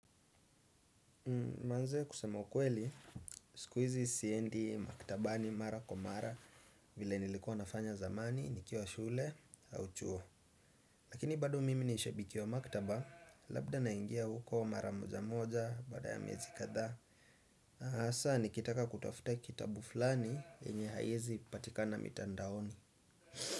Maanze kusema ukweli, siku hizi siendi maktaba ni mara kwa mara vile nilikuwa nafanya zamani, nikiwa wa shule, au chuo. Lakini bado mimi ni shabiki wa maktaba, labda naingia huko wa mara moja moja, baada ya miezi kadha. Hasaa nikitaka kutafuta kitabu fulani, yenye haiezi pipatika na mitandaoni.